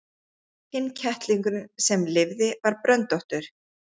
Hinn kettlingurinn sem lifði var bröndóttur.